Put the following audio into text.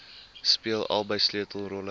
speel albei sleutelrolle